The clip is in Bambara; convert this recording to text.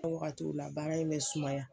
O wagatiw la baara in bɛ sumaya